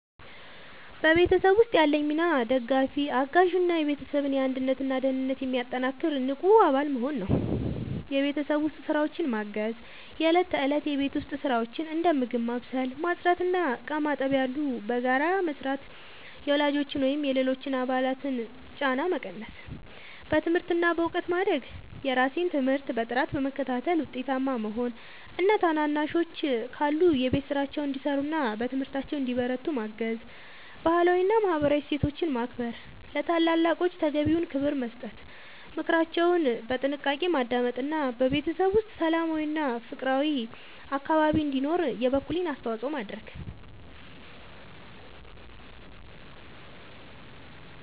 በቤተሰብ ውስጥ ያለኝ ሚና ደጋፊ፣ አጋዥ እና የቤተሰብን አንድነትና ደህንነት የሚያጠናክር ንቁ አባል መሆን ነው። የቤት ውስጥ ስራዎችን ማገዝ፦ የእለት ተእለት የቤት ውስጥ ስራዎችን (እንደ ምግብ ማብሰል፣ ማጽዳት እና ዕቃ ማጠብ ያሉ) በጋራ በመስራት የወላጆችን ወይም የሌሎች አባላትን ጫና መቀነስ። በትምህርት እና በእውቀት ማደግ፦ የራሴን ትምህርት በጥራት በመከታተል ውጤታማ መሆን እና ታናናሾች ካሉ የቤት ስራቸውን እንዲሰሩና በትምህርታቸው እንዲበረቱ ማገዝ። ባህላዊ እና ማህበራዊ እሴቶችን ማክበር፦ ለታላላቆች ተገቢውን ክብር መስጠት፣ ምክራቸውን በጥንቃቄ ማዳመጥ እና በቤተሰብ ውስጥ ሰላማዊና ፍቅራዊ አካባቢ እንዲኖር የበኩሌን አስተዋጽኦ ማድረግ።